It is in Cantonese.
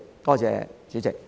多謝代理主席。